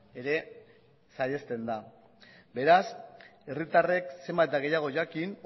ere saihesten da beraz herritarrek zenbat eta gehiago jakin